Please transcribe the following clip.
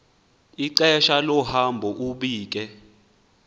ixesha lohambo ubike